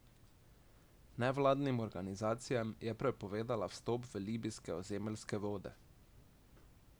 Nevladnim organizacijam je prepovedala vstop v libijske ozemeljske vode.